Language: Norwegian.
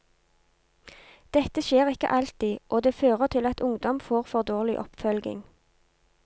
Dette skjer ikke alltid, og det fører til at ungdom får for dårlig oppfølging.